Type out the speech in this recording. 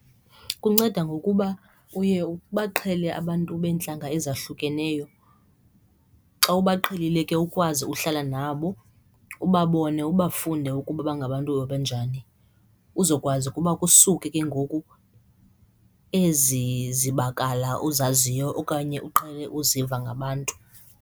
Kunceda ngokuba uye abaqhele abantu beentlanga ezahlukeneyo. Xa uba uqhelile ke ukwazi uhlala nabo ubabone ubafunde ukuba bangabantu abanjani uzokwazi ukuba kusuke ke ngoku ezi zibakala uzaziyo okanye uqhele uziva ngabantu.